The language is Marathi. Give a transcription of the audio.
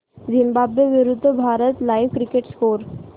झिम्बाब्वे विरूद्ध भारत लाइव्ह क्रिकेट स्कोर